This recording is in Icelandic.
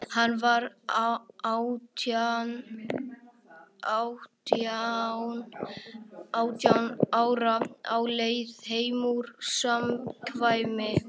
Hann var átján ára, á leið heim úr samkvæmi.